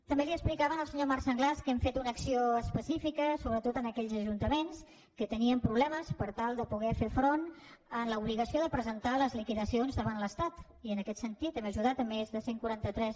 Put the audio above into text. també li explicava al senyor marc sanglas que hem fet una acció específica sobretot en aquells ajuntaments que tenien problemes per tal de poder fer front a l’obligació de presentar les liquidacions davant l’estat i en aquest sentit hem ajudat més de cent i quaranta tres